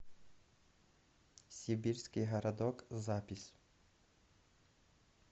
сибирский городок запись